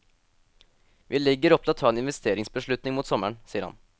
Vi legger opp til å ta en investeringsbeslutning mot sommeren, sier han.